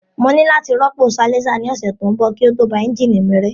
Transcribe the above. Mo ní láti rọ́pò silencer ní ọ̀sẹ̀ tó ń bọ̀ kí ó tó ba ẹ́ńjìnì mi rẹ́